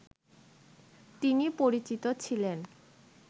তিনি পরিচিত ছিলেন